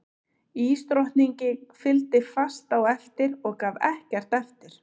Ísdrottningi fylgdi fast á eftir og gaf ekkert eftir.